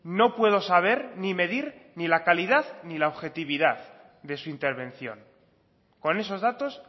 no puedo saber ni medir ni la calidad ni la objetividad de su intervención con esos datos